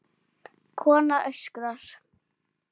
Kona öskrar.